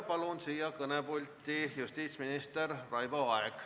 Palun kõnepulti justiitsminister Raivo Aegi.